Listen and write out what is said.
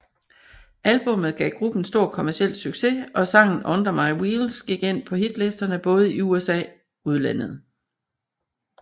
Albummet gav gruppen stor kommerciel succes og sangen Under My Wheels gik ind på hitlistene både i USA udlandet